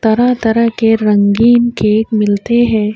طرح-طرح کے رنگیں کیک ملتے ہے۔